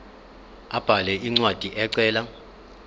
abhale incwadi ecela